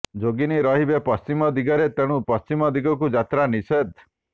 ଯୋଗିନୀ ରହିବେ ପଶ୍ଚିମ ଦିଗରେ ତେଣୁ ପଶ୍ଚିମ ଦିଗକୁ ଯାତ୍ରା ନିଷେଧ